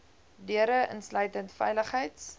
deure insluitend veiligheids